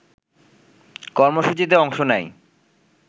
কর্মসূচিতে অংশ নেয়